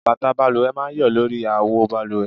Bàtà balùwẹ̀ máa ń yọ lórí àwo balùwẹ̀